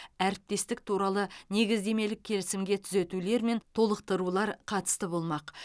әріптестік туралы негіздемелік келісімге түзетулер мен толықтырулар қатысты болмақ